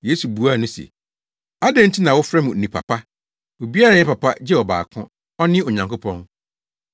Yesu buaa no se, “Adɛn nti na wofrɛ me onipa pa? Obiara nyɛ papa gye ɔbaako; ɔne Onyankopɔn.